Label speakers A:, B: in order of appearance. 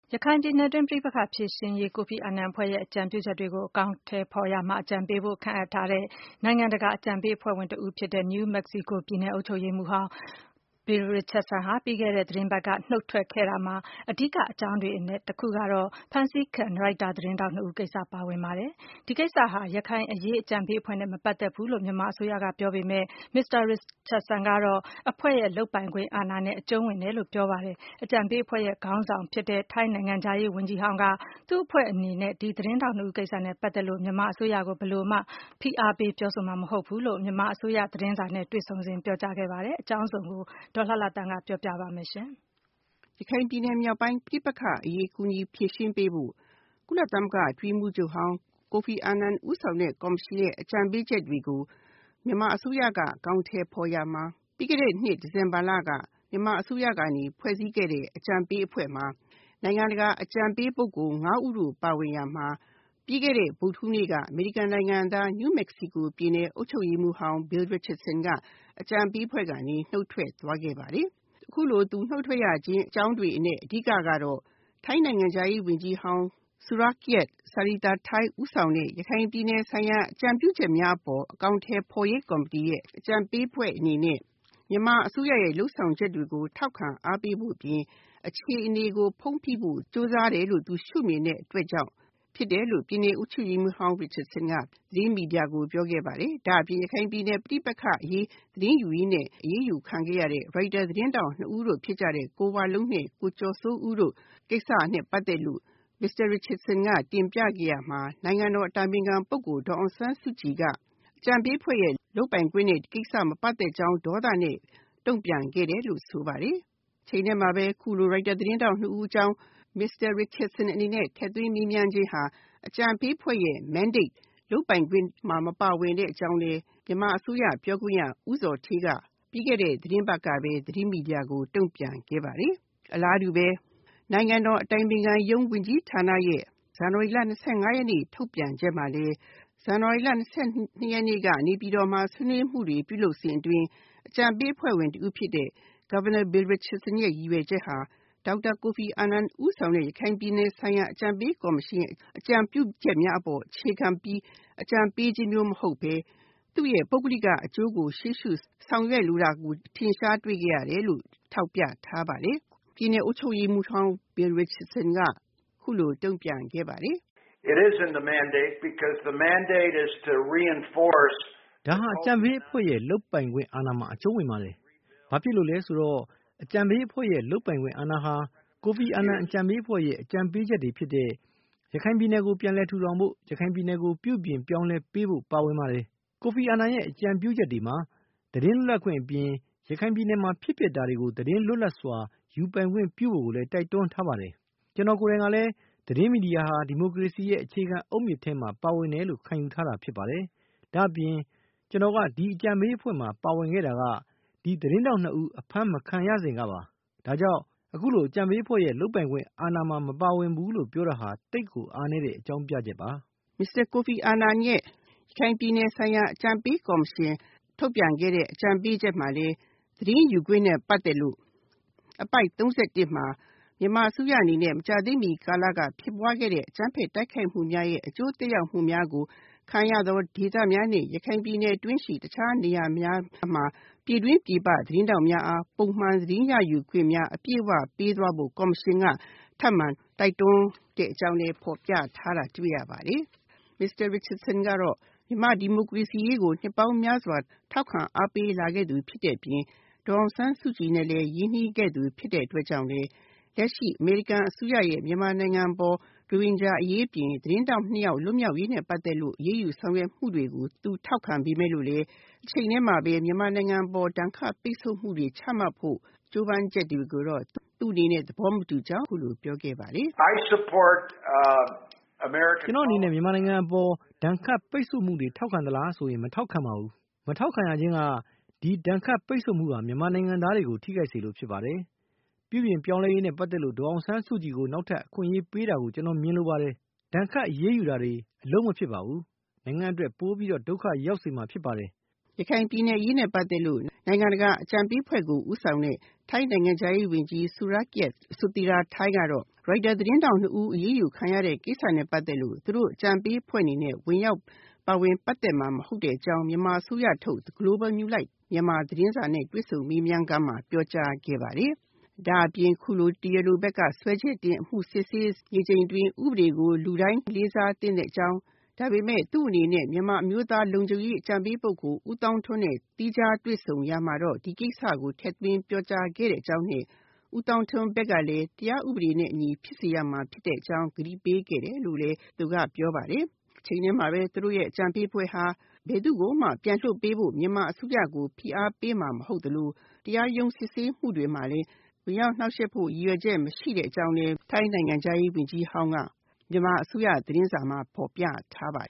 A: ရခိုင်ပြည်နယ် ပဋိပက္ခဖြေရှင်းနိုင်ရေးအတွက် ကိုဖီအာနန်အဖွဲ့ရဲ့ အကြံပြုချက်တွေကို အကောင်အထည်ဖော်ရာမှာ အကြံပေးဖို့ ခန့်အပ်ထားတဲ့ နိုင်ငံတကာ အကြံပေးအဖွဲ့ဝင်တဦးဖြစ်တဲ့ ပြည်နယ်အုပ်ချုပ်ရေးမှူးဟောင်း Bill Richardson ပြီးခဲ့တဲ့သီတင်းပတ်က နုတ်ထွက်ခဲ့ရာမှာ အဓိက အကြောင်းတွေအနက် တခုကတော့ ဖမ်းဆီးခံ ရိုက်တာ သတင်းထောက်နှစ်ဦးကိစ္စ ပါဝင်ပါတယ်။ ဒီကိစ္စဟာ ရခိုင်အရေးအကြံပေးအဖွဲ့နဲ့ မပတ်သက်ဘူးလို့ မြန်မာအစိုးရက ပြောပေမယ့် မစ္စတာ ရစ်ချတ်ဆန်ကတော့ အဖွဲ့ လုပ်ပိုင်ခွင့်အာဏာနဲ့ အကျုံးဝင်တယ်လို့ ပြောပါတယ်။ အကြံပေးအဖွဲ့ရဲ့ ခေါင်းဆောင်ဖြစ်တဲ့ ထိုင်းနိုင်ငံခြားရေးဝန်ကြီးဟောင်းကတော့ သူ့အဖွဲ့အနေနဲ့ ဒီသတင်းထောက်နှစ်ဦးကိစ္စနဲ့ ပတ်သက်လို့ မြန်မာအစိုးရကို ဘယ်လိုမှ ဖိအားပေးပြောဆိုမှာမဟုတ်ဘူးလို့ မြန်မာအစိုးရသတင်းစာနဲ့ တွေ့ဆုံစဉ်မှာ ပြောကြားခဲ့ပါတယ်။ အကြောင်းစုံကို ဒေါ်လှလှသန်းက ပြောပြပေးပါမယ်။
B: ရခိုင်ပြည်နယ် ပဋိပက္ခအရေးကူညီဖြေရှင်းပေးဖို့ ကုလသမဂ္ဂအတွင်းရေးမှူးချုပ်ဟောင်း မစ္စတာကိုဖီအာနန် ဦးဆောင်တဲ့ ကော်မရှင်ရဲ့ အကြံပေးချက်တွေကို မြန်မာအစိုးရက အကောင်အထည်ဖော်ရမှာ ပြီးခဲ့တဲ့နှစ် ဒီဇင်ဘာလက မြန်မာအစိုးရကနေ ဖွဲ့စည်းခဲ့တဲ့ အကြံပေး အဖွဲ့မှာ နိုင်ငံတကာ အကြံပေးပုဂ္ဂိုလ် ၅ ဦးတို့ပါဝင်ရာမှာ ပြီးခဲ့တဲ့ ဗုဒ္ဓဟူးနေ့က အမေရိကန်နိုင်ငံသား New Mexico ပြည်နယ်အုပ်ချုပ်ရေးမှူး ဟောင်း Bill Richardson က အကြံပေးအဖွဲ့ကနေ နုတ်ထွက်သွားခဲ့ပါတယ်။ အခုလိုသူနုတ်ထွက်သွားတဲ့အကြောင်းတွေအနက် အဓိကတော့ ထိုင်းနိုင်ငံခြားရေးဝန်ကြီးဟောင်း Surakiat Sathianthai ဦးဆောင်တဲ့ ရခိုင်ပြည်နယ်ဆိုင်ရာ အကြံပြုချက်များအပေါ် အကောင်အထည် ဖော်ရေးကော်မတီရဲ့ အကြံပေးအဖွဲ့အနေနဲ့ မြန်မာအစိုးရရဲ့ လုပ်ဆောင်ချက်တွေကို ထောက်ခံအားပေးဖို့အပြင် အခြေအနေကို ဖုံးဖိဖို့ ကြိုးစားတယ်လို့ သူရှုမြင်တဲ့အတွက်ကြောင့် ဖြစ်တယ်လို့ ပြည်နယ်အုပ်ချုပ်ရေးမှူးဟောင်း Richardson က သတင်းမီဒီယာကိုပြောခဲ့ပါတယ်။ ဒါ့အပြင် ရခိုင်ပြည်နယ်ပဋိပက္ခအရေး သတင်းယူရင်းနဲ့ အရေးယူခံခဲ့ရတဲ့ ရိုက်တာသတင်းထောက်နှစ်ဦးတို့ဖြစ်ကြတဲ့ ကိုဝလုံးနဲ့ ကိုကျော်စိုးဦးတို့ ကိစ္စနဲ့ပတ်သက်လို့ မစ္စတာ Richardson က တင်ပြခဲ့ရာမှာ နိုင်ငံတော် အတိုင်ပင်ခံပုဂ္ဂိုလ်ဒေါ်အောင်ဆန်းစုကြည်က အကြံပေးအဖွဲရဲ့ လုပ်ပိုင်ခွင့်နဲ့ ဒီကိစ္စမပတ်သက်ကြောင်း ဒေါသနဲ့ တုံ့ပြန်ခဲ့တယ်လို့ ဆိုပါတယ်။ တချိန်တည်းမှာပဲ အခုလို ရိုက်တာ သတင်းထောက်နှစ်ဦးအကြောင်း Mr. Richardson အနေနဲ့ ထည့်သွင်းမေးမြန်းခြင်းဟာ အကြံပေးအဖွဲ့ရဲ့ Mandate လုပ်ပိုင်ခွင့်မှာ မပါဝင်တဲ့အကြောင်းလည်း မြန်မာအစိုးရပြောခွင့်ရ ဦးဇော်ဌေးက ပြီးခဲ့တဲ့ သီတင်းပတ်ကပဲ သတင်းမီဒီယာကို တုံ့ပြန်ခဲ့ပါတယ်။ အလားတူပဲ နိုင်ငံတော်အတိုင်ပင်ခံရုံး ဝန်ကြီးဌာနရဲ့ ဇန်နဝါရီလ ၂၅ ရက်နေ့ထုတ်ပြန် ချက်မှာလည်း ဇန်နဝါရီလ ၂၂ ရက်နေ့က နေပြည်တော်မှာ ဆွေးနွေးမှုတွေပြုလုပ်စဉ်အတွင်း အကြံပေးအဖွဲ့ဝင်တဦးဖြစ်တဲ့ ပြည်နယ်အုပ်ချုပ်ရေးမှူးဟောင်း Bill Richardson ရဲ့ ရည်ရွယ်ချက်ဟာ ဒေါက်တာကိုဖီအာနန် ဦးဆောင်တဲ့ ရခိုင်ပြည်နယ် အကြံပေးကော်မရှင်ရဲ့ အကြံပြုချက်များအပေါ်အခြေခံပြီး အကြံပေးခြင်းမျိုးမဟုတ်ဘဲ သူ့ရဲ့ပုဂ္ဂလိကအကျိုးကို ရှေ့ရှုဆောင်ရွက်လိုတာကို ထင်ရှားတွေ့ရတယ်လို့ ထောက်ပြထားပါတယ်။ ပြည်နယ်အုပ်ချုပ်ရေးမှူးဟောင်း Bill Richardson က အခုလိုတုံ့ပြန်ခဲ့ပါတယ်။
C: “ဒါဟာ အကြံပေးအဖွဲ့ရဲ့ လုပ်ပိုင်ခွင့်အာဏာမှာ အကျုံးဝင်ပါတယ်။ ဘာဖြစ်လို့လဲဆိုတော့ အကြံပေးအဖွဲ့ရဲ့လုပ်ပိုင်ခွင့်အာဏာဟာ ကိုဖီအာနန် အကြံပေးအဖွဲ့ရဲ့ အကြံပေးချက်တွေဖြစ်တဲ့ ရခိုင်ပြည်နယ်ကို ပြန်လည်ထူထောင်ဖို့၊ ရခိုင်ပြည်နယ်ကို ပြုပြင်ပြောင်းလဲပေးဖို့ ပါဝင်ပါတယ်။ ကိုဖီအာနန်ရဲ့ အကြံပြုချက်တွေမှာ သတင်းလွတ်လပ်ခွင့်အပြင် ရခိုင်ပြည်နယ်မှာ ဖြစ်ပျက်တာတွေကို သတင်းလွတ်လပ်စွာ ယူခွင့်ပြုဖို့ကိုလည်း တိုက်တွန်းထားတာ ဖြစ်ပါတယ်။ ကျနော်ကိုယ်တိုင်ကလည်း သတင်းမီဒီယာဟာ ဒီမိုကရေစီရဲ့ အခြေခံအုတ်မြစ်ထဲမှာ ပါဝင်တယ်လို့ ခံယူထားတာ ဖြစ်ပါတယ်။ ဒါ့အပြင် ကျနော်က ဒီအကြံပေးအဖွဲ့မှာ ပါဝင်ခဲ့တာက ဒီသတင်းထောက် နှစ်ဦး အဖမ်းမခံခဲ့ရစဉ် ကပါ။ ဒါကြောင့် အခုလို အကြံပေးအဖွဲ့ရဲ့ လုပ်ပိုင်ခွင့်အာဏာမှာ မပ
B: ါဝင်ဘူးလို့ ပြောတာဟာ သိပ်ကို အားနည်းတဲ့ အကြောင်းပြချက်ပါ။” Mr. ကိုဖီအာနန်ရဲ့ အကြံပေးကော်မရှင် ထုတ်ပြန်ခဲ့တဲ့ အကြံပေးချက်မှာလည်း သတင်းယူခွင့်နဲ့ ပတ်သက်လို့ အပိုဒ် ၃၁ မှာ မြန်မာအစိုးရ အနေနဲ့ မကြာသေးမီ ကာလက ဖြစ်ပွားခဲ့တဲ့ အကြမ်းဖက်တိုက်ခိုက်မှုများရဲ့ အကျိုးသက်ရောက်မှုများကိုခံရသော ဒေသများနှင့် ရခိုင် ပြည်နယ် အတွင်းရှိ အခြားနေရာများမှာ ပြည်တွင်းပြည်ပ သတင်းထောက်များအား ပုံမှန်သတင်းရယူခွင့်များ အပြည့်အဝပေးသွားဖို့ ကော်မရှင်က ထပ်မံတိုက်တွန်းတဲ့အကြောင်းလည်း ဖော်ပြထားတာတွေ့ရပါတယ်။ Mr. Richardson ကတော့ မြန်မာ့ဒီမိုကရေစီအရေးကို နှစ်ပေါင်းများစွာ ထောက်ခံအားပေးလာခဲ့သူဖြစ်တဲ့အပြင် ဒေါ်အောင်ဆန်းစုကြည် နဲ့ လည်း ရင်းနှီးခဲ့သူဖြစ်တဲ့အတွက် လက်ရှိ အမေရိကန်အစိုးရရဲ့ မြန်မာနိုင်ငံအပေါ် ရိုဟင်ဂျာအရေးအပြင် သတင်းထောက်နှစ်ဦး ပြန်လွတ် မြောက်ရေးနဲ့ ပတ်သက်လို့ အရေးယူဆောင်ရွက်မှုတွေကို သူထောက်ခံပေမယ့်လို့လည်း တချိန်တည်းမှာပဲ မြန်မာနိုင်ငံအပေါ် ဒဏ်ခတ် ပိတ်ဆို့မှုတွေ ချမှတ်ဖို့ ကြိုးပမ်းချက်တွေကိုတော့ သူ့အနေနဲ့ သဘောမတူကြောင်း အခုလိုပြောခဲ့ပါတယ်။ “ကျနော့်အနေနဲ့ မြန်မာနိုင်ငံပေါ် ဒဏ်ခတ်ပိတ်ဆို့မှု
C: တွေကို ထောက်ခံသလားဆိုရင် မထောက်ခံပါဘူး။ မထောက်ခံရခြင်းက ဒီဒဏ်ခတ် ပိတ်ဆို့မှုဟာ မြန်မာနိုင်ငံသားတွေကို ထိခိုက်စေလို့ ဖြစ်ပါတယ်။ ပြုပြင်ပြောင်းလဲရေးနဲ့ပတ်သက်လို့ ဒေါ်အောင်ဆန်းစုကြည်ကို နောက်ထပ် အခွင့်အရေးပေးတာကို ကျနော် မြင်လိုပါတယ်။ ဒဏ်ခတ်အရေးယူတာတွေဟာ အလုပ်မဖြစ်ပါဘူး။ နိုင်ငံအတွက် ပ
B: ိုပြီး ဒုက္ခရောက်စေမှာ ဖြစ်ပါတယ်။” ရခိုင်ပြည်နယ်အရေးနဲ့ ပတ်သက်လို့ နိုင်ငံတကာ အကြံပေးအဖွဲ့ကို ဦးဆောင်တဲ့ ထိုင်းနိုင်ငံခြားရေးဝန်ကြီးဟောင်း Surakiart Sathirathai ကတော့ ရိုက်တာသတင်းထောက် ၂ ဦး အဖမ်းခံရတဲ့ ကိစ္စနဲ့ ပတ်သက်ပြီး သူတို့အကြံပေးအဖွဲ့အနေနဲ့ ဝင်ရောက်ပါဝင်ပတ်သက်မှာ မဟုတ်ကြောင်း မြန်မာအစိုးရထုတ် Global New Lights of Myanmar သတင်းဌာနနဲ့ တွေ့ဆုံခန်းမှာ ပြောကြားခဲ့ပါတယ်။ ဒါအပြင်အခုလို တရားလိုဘက်က စွဲချက်တင်အမှုစစ်ဆေးနေချိန်အတွင်း ဥပဒေကို လူတိုင်းလေးစားသင့်တဲ့အကြောင်း ဒါပေမယ့် သူ့အနေနဲ့ မြန်မာ အမျိုးသား လုံခြုံရေး အကြံပေး ပုဂ္ဂိုလ် ဦးသောင်းထွန်းနဲ့ သီးခြားတွေ့ဆုံရာမှာတော့ ဒီကိစ္စကို ထည့်သွင်းပြောကြားခဲ့တဲ့အကြောင်းနဲ့ ဦးသောင်းထွန်းဘက်ကလည်း တရားဥပဒေနဲ့အညီ ဖြစ်စေရမှာ ဖြစ်တဲ့အကြောင်း ကတိပေးခဲ့တယ်လို့လည်း သူကပြောပါတယ်။ တချိန်တည်းမှာပဲ သူတို့ရဲ့ အကြံပေးအဖွဲ့ဟာ ဘယ်သူ့ကိုမှ ပြန်လွှတ်ပေးဖို့ မြန်မာအစိုးရကို ဖိအားပေးမှာမဟုတ်သလို တရားရုံး စစ်ဆေးမှုတွေမှာလည်း ဝင်ရောက်နှောင့်ယှက်ဖို့ ရည်ရွယ်ချက်မရှိတဲ့အကြောင်းလည်းထိုင်းနိုင်ငံခြားရေးဝန်ကြီးဟောင်း က ပြောကြောင်း မြန်မာအစိုးရသတင်းစာမှာ ဖော်ပြထားပါ